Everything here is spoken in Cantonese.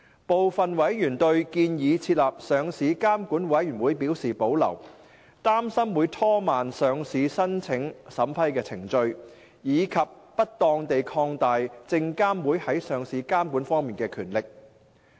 部分委員對建議設立上市監管委員會表示保留，擔心會拖慢上市申請審批程序，以及不當地擴大證監會在上市監管方面的權力。